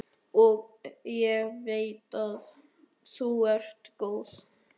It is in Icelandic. Og ég veit að þú ert góð.